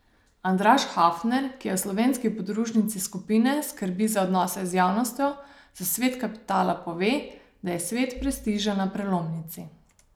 Andraž Hafner, ki v slovenski podružnici skupine skrbi za odnose z javnostjo, za Svet kapitala pove, da je svet prestiža na prelomnici.